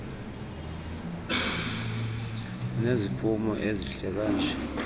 uneziphumo ezihle kanje